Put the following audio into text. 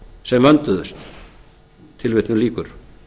sem vönduðust tilvitnun lýkur